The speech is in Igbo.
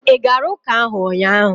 ị gara ụka ahụ ụnyaahụ?